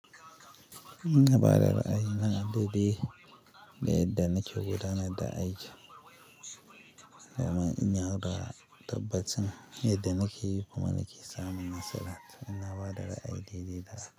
Ina ba da ra'ayi na daɗi, da yadda nake gudanar da aiki kuma in yaudara tabbattsa me da nake yi kuma nake samun nasara. Ina ba da ra'ayi daidai da haka.